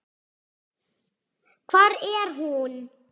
Hvar er hún?